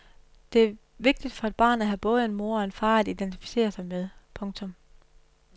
Det er vigtigt for et barn at have både en mor og en far at identificere sig med. punktum